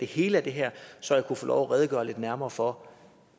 hele af det her så jeg kan få lov til at redegøre lidt nærmere for